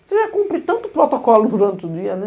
Você já cumpre tanto protocolo durante o dia, né?